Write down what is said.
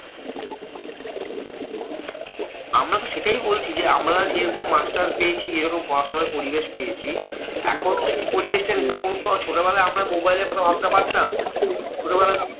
আমরা তো সেটাই বলছি যে, আমরা যেরকম মাস্টার পেয়েছি যেরকম পড়াশোনার পরিবেশ পেয়েছি, এখন তো সেই পরিবেশ টা নেই। তখনতো ছোটবেলায় আমরা mobile এর কথা ভাবতে পারতাম? ছোটবেলা